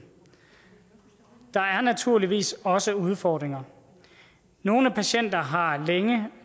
der er naturligvis også udfordringer nogle patienter har